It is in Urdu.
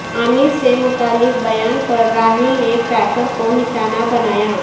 عامر سے متعلق بیان پر راہل نے پریکر کو نشانہ بنایا